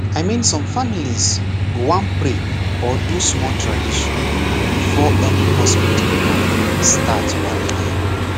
i mean some family go wan pray or do small tradition before any hospital plan start walai